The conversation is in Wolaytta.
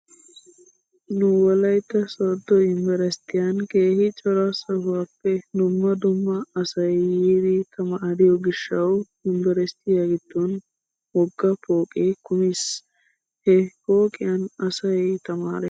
Nu wlaytta sodo yumbberesttiyan keehi cora sohuwaappe dumma dumma asay yiidi tamaariyo gishshawu yumbberesttiya giddon wogga pooqee kumiis. He pokqiyan asay tamaarees.